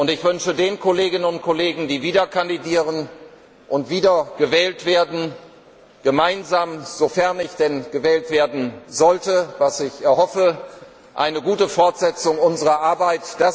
Ich wünsche den Kolleginnen und Kollegen, die wieder kandidieren und wieder gewählt werden, gemeinsam sofern ich denn gewählt werden sollte, was ich hoffe eine gute Fortsetzung unserer Arbeit.